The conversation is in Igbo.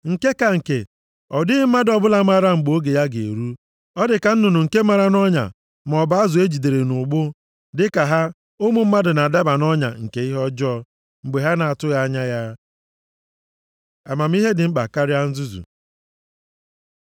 Nke ka nke, ọ dịghị mmadụ ọbụla maara mgbe oge ya ga-eru: Ọ dị ka nnụnụ nke mara nʼọnya, maọbụ azụ e jidere nʼụgbụ. Dịka ha, ụmụ mmadụ na-adaba nʼọnya nke ihe ọjọọ mgbe ha na-atụghị anya ya. Amamihe dị mkpa karịa nzuzu